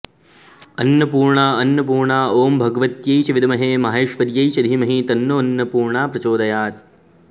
अन्नपूर्णा अन्नपूर्णा ॐ भगवत्यै च विद्महे माहेश्वर्यै च धीमहि तन्नोऽन्नपूर्णा प्रचोदयात्